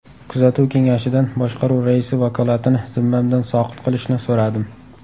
Kuzatuv kengashidan boshqaruv raisi vakolatini zimmamdan soqit qilishni so‘radim.